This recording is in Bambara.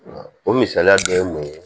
O misaliya dɔ ye mun ye